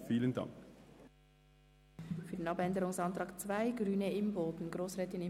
Grossrätin Imboden spricht für die Planungserklärung 2.